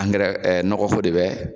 Angirɛ ɛ nɔgɔ ko de bɛ